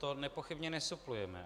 To nepochybně nesuplujeme.